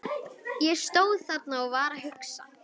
Ég stóð þarna og var að hugsa.